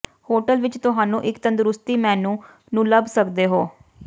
hotel ਵਿੱਚ ਤੁਹਾਨੂੰ ਇੱਕ ਤੰਦਰੁਸਤੀ ਮੇਨੂ ਨੂੰ ਲੱਭ ਸਕਦੇ ਹੋ